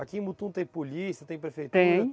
Aqui em Mutum tem polícia, tem prefeitura? Tem.